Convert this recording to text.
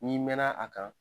N'i mɛɛnna a kan